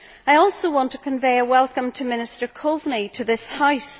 I also want to convey a welcome to Minister Coveney to this House.